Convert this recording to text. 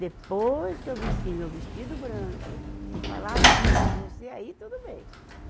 Depois que eu vestir meu vestido branco e falar sim para você, aí tudo bem.